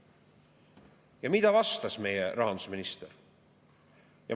Ja mida vastas meie rahandusminister?